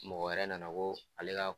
Mɔgɔ wɛrɛ nana ko ale ka